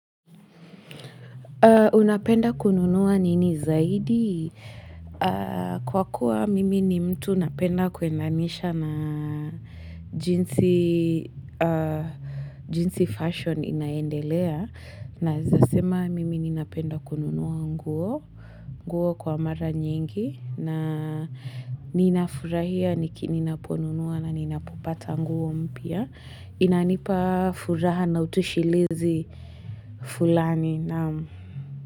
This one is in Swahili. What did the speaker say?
Unapenda kununuwa nini zaidi? Kwa kuwa mimi ni mtu napenda kuendanisha na jinsi fasheni inaendelea. Naweza sema mimi ninapenda kununua nguo kwa mara nyingi. Na ninafurahia ninaponunua na ninapopata nguo mpya. Inanipa furaha na utoshelezi fulani.